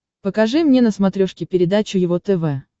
покажи мне на смотрешке передачу его тв